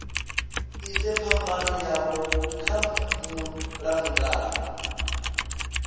ise phambano yavho kha mulamukanyi